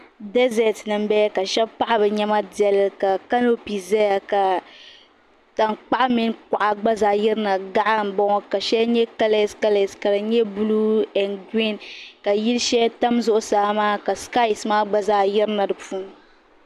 Daƶɛt ni nbala ka shɛba paɣɛ bɛ niɛma ndɛli ka kanopi ƶaya ka tankpaɣʋ mini kuɣa gba ƶaa yɛrina gaɣa n boŋo ka shɛli nyɛ kalaskalas ka dɛ blue and green ka yilshɛli tam ƶuɣu saa maa ka skys maa gba yirina dipuuni.